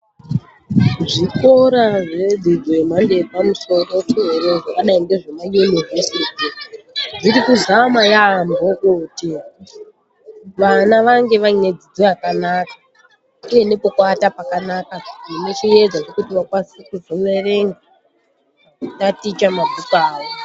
Zvikora zvedzidzo yemhando yepamusoro soro zvakadai ngezvema yunivhesiti zviri kuzama yaamho kuti vana vange vaine dzidzo yakanaka uye nepekuwata pakanaka zvine chiedza chekuti vakwanise kuzoverenga veindaticha mabhuku awo